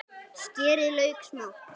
Skerið lauk smátt.